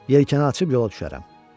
Yelkəni açıb yola düşərəm.